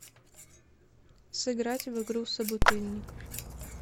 сыграть в игру собутыльник